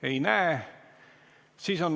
Ei näe soove.